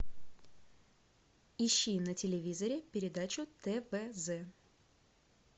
ищи на телевизоре передачу твз